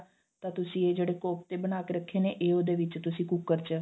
ਤਾਂ ਤੁਸੀਂ ਇਹ ਜਿਹੜੇ ਨੇ ਕੋਫਤੇ ਬਣਾਕੇ ਰੱਖੇ ਨੇ ਇਹ ਉਹਦੇ ਵਿੱਚ ਤੁਸੀਂ ਕੁੱਕਰ ਚ